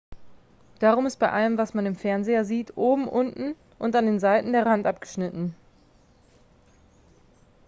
darum ist bei allem was man im fernseher sieht oben unten und an den seiten der rand abgeschnitten